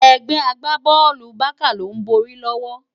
Egbè àgbábòlú Bàká ló n bòri lòwò